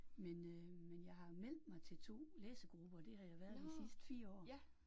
Men øh men jeg har meldt mig til 2 læsegrupper det har jeg været de sidste 4 år